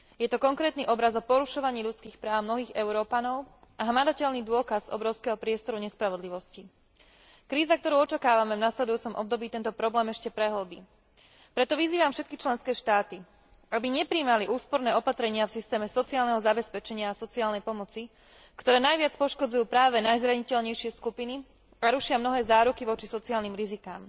Je to konkrétny obraz o porušovaní ľudských práv mnohých Európanov a hmatateľný dôkaz obrovského priestoru nespravodlivosti. Kríza, ktorú očakávame v nasledujúcom období, tento problém ešte prehĺbi. Preto vyzývam všetky členské štáty, aby neprijímali úsporné opatrenia v systéme sociálneho zabezpečenia a sociálnej pomoci, ktoré najviac poškodzujú práve najzraniteľnejšie skupiny a rušia mnohé záruky voči sociálnym rizikám.